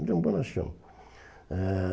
Ele era um bonachão. Eh